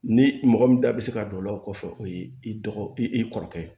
Ni mɔgɔ min da bɛ se ka don o la o kɔfɛ o ye i dɔgɔ i kɔrɔkɛ ye